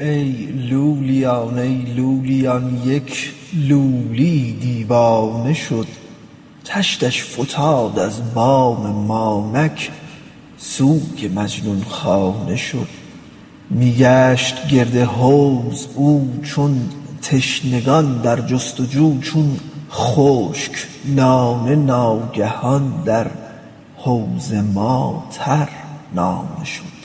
ای لولیان ای لولیان یک لولی یی دیوانه شد تشتش فتاد از بام ما نک سوی مجنون خانه شد می گشت گرد حوض او چون تشنگان در جست و جو چون خشک نانه ناگهان در حوض ما ترنانه شد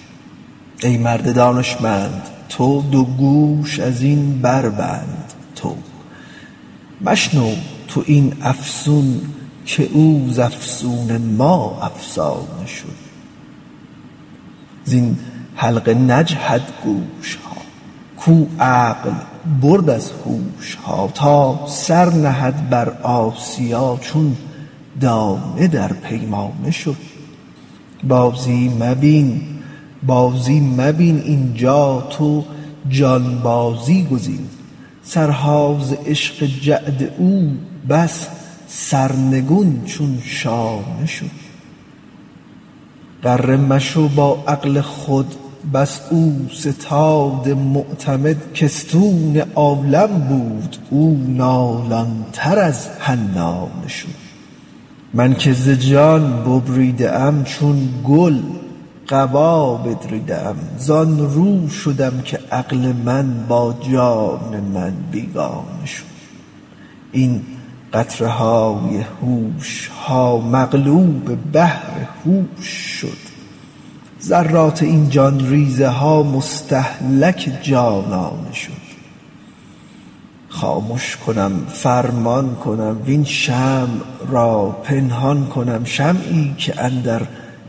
ای مرد دانشمند تو دو گوش از این بربند تو مشنو تو این افسون که او ز افسون ما افسانه شد زین حلقه نجهد گوش ها کاو عقل برد از هوش ها تا سر نهد بر آسیا چون دانه در پیمانه شد بازی مبین بازی مبین اینجا تو جانبازی گزین سرها ز عشق جعد او بس سرنگون چون شانه شد غره مشو با عقل خود بس اوستاد معتمد که استون عالم بود او نالان تر از حنانه شد من که ز جان ببریده ام چون گل قبا بدریده ام زان رو شدم که عقل من با جان من بیگانه شد این قطره های هوش ها مغلوب بحر هوش شد ذرات این جان ریزه ها مستهلک جانانه شد خامش کنم فرمان کنم وین شمع را پنهان کنم شمعی که اندر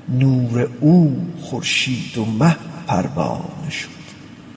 نور او خورشید و مه پروانه شد